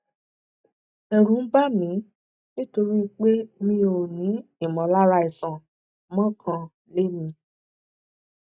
ẹrù ń bà mí nítorí pé mi ò ní ìmọlára àìsàn mo kàn lè mí